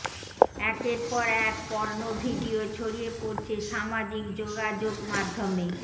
একের পর এক পর্নো ভিডিও ছড়িয়ে পড়ছে সামাজিক যোগাযোগ মাধ্যমে